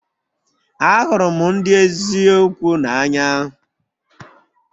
Ahụrụ m ndị eziokwu n'anya